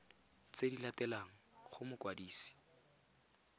tse di latelang go mokwadisi